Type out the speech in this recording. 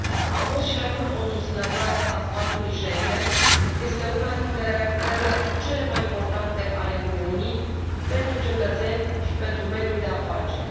Am fost și rămân o susținătoare a spațiului Schengen, este una dintre realizările cele mai importante ale Uniunii pentru cetățeni și pentru mediul de afaceri.